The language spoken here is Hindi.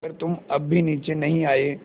अगर तुम अब भी नीचे नहीं आये